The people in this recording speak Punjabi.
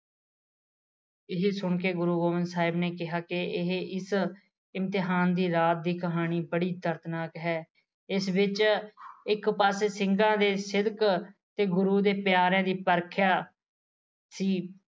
ਇਹ ਸੁਣ ਕੇ ਗੁਰੂ ਗੋਬਿੰਦ ਸਾਹਿਬ ਨੇ ਕਿਹਾ ਕਿ ਇਸ ਇਮਤਿਹਾਨ ਦੇ ਰਾਤ ਦੀ ਕਹਾਣੀ ਬੜੀ ਦਰਦਨਾਕ ਹੈ ਇਸ ਵਿੱਚ ਇੱਕ ਪਾਸੇ ਸਿੰਘਾ ਦੇ ਸਿਦਕ ਤੇ ਗੁਰੂਆ ਦੇ ਪਿਆਰਿਆ ਦੀ ਪਰਖਿਆ